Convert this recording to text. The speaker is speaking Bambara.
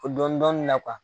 O dɔɔni dɔɔni na